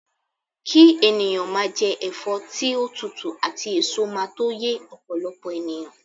ki eniyan maa je efo ti o tutu ati eso maa to ye opolopo eniyan